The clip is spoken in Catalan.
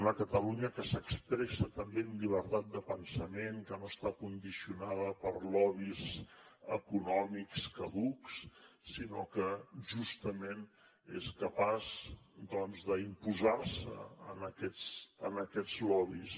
una catalunya que s’expressa també amb llibertat de pensament que no està condicionada per lobbys econòmics caducs sinó que justament és capaç d’imposar se a aquests lobbys